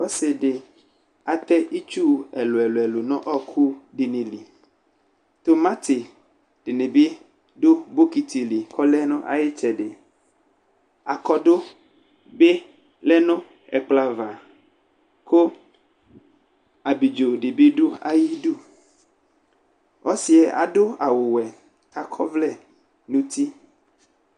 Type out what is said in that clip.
Ɔsɩ dɩ atɛ itsuwu ɛlʋ ɛlʋ ɛlʋ nʋ ɔɔkʋ dɩnɩ liTʋmatɩ dɩnɩ bɩ dʋ bɔkɩtɩ li kʋ ɔlɛ nʋ ayʋ ɩtsɛdi Akɔdu bɩ lɛ nʋ ɛkplɔ ava, kʋ abidzo dɩ bɩ dʋ ayidu Ɔsɩ yɛ adʋ awʋwe kʋ akɔ ɔvlɛ nʋ uti